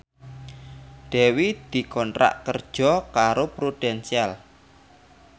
Dewi dikontrak kerja karo Prudential